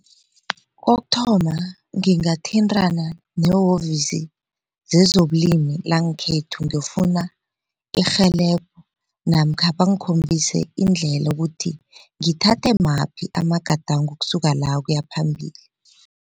Kokuthoma ngingathintana nehovisi zezobulima langekhethu ngiyofuna irhelebho namkha bangkhombise indlela ukuthi ngithathe maphi amagadango ukusuka la ukuyaphambili.